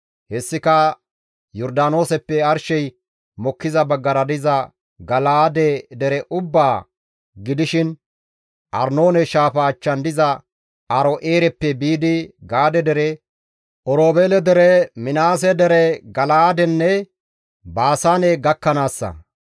Hessika Yordaanooseppe arshey mokkiza baggara diza Gala7aade dere ubbaa gidishin Arnoone shaafa achchan diza Aaro7eereppe biidi Gaade dere, Oroobeele dere, Minaase dere Gala7aadenne Baasaane gakkanaassa.